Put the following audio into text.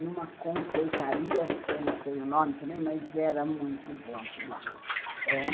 numa confeitaria, que eu não sei o nome também, mas era muito bom aquele bolo ãh